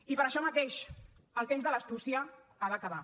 i per això mateix el temps de l’astúcia ha d’acabar